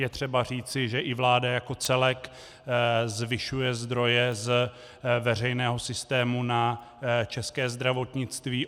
Je třeba říci, že i vláda jako celek zvyšuje zdroje z veřejného systému na české zdravotnictví.